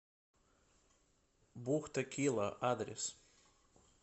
бухта кила адрес